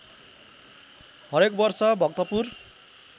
हरेक वर्ष भक्तपुर